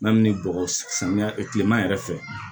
Yanni bɔgɔ samiya kilema yɛrɛ fɛ